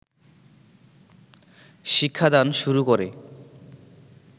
শিক্ষাদান শুরু করে